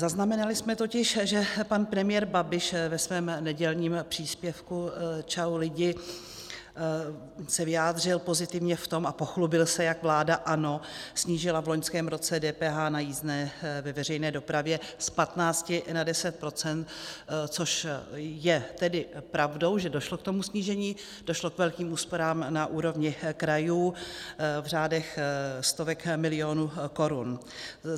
Zaznamenali jsme totiž, že pan premiér Babiš ve svém nedělním příspěvku Čau lidi se vyjádřil pozitivně v tom a pochlubil se, jak vláda ANO snížila v loňském roce DPH na jízdné ve veřejné dopravě z 15 na 10 %, což je tedy pravdou, že došlo k tomu snížení, došlo k velkým úsporám na úrovni krajů v řádech stovek milionů korun.